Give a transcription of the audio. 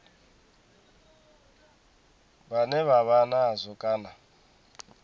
vhane vha vha nazwo kana